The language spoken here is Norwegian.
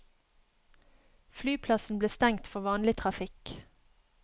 Flyplassen ble stengt for vanlig trafikk.